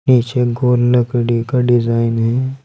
नीचे गोल लकड़ी का डिजाइन है।